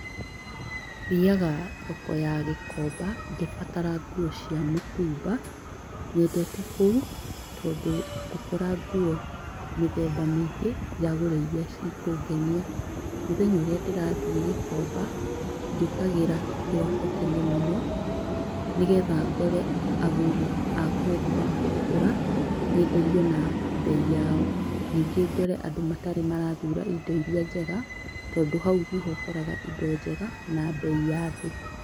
Thiaga thoko ya gĩkomba ngĩbatara nguo cia mũtumba, nyendete kũu tondũ ngũkora nguo mĩthemba mĩingĩ njagũre iria cikũngenia. Mũthenya ũrĩa ndĩrathiĩ gĩkomba njũkagĩra kĩroko tene mũno nĩgetha ngore agũri a kwendia makĩgũra nyenderio na mbei yao. Ningĩ ngore andũ matarĩ marathura indo iria njega tondũ hau niho ũkoraga indo njega na mbei ya thĩ.